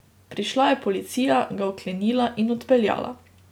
Prišla je policija, ga vklenila in odpeljala.